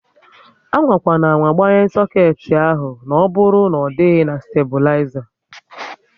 Amakwana ámá gbanye soket ahụ na ọbụrụ na ọ dịghị na staibulizer!